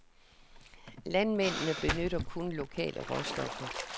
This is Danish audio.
Landmændene benytter kun lokale råstoffer.